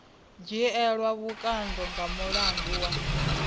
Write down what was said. dzhielwa vhukando nga mulandu wa